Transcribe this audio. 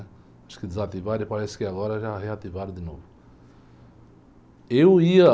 Acho que desativaram e parece que agora já reativaram de novo. Eu ia...